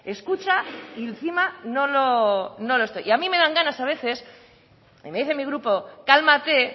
escucha y encima no lo y a mí me dan ganas a veces y me dice mi grupo cálmate